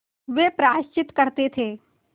वे प्रायश्चित करते थे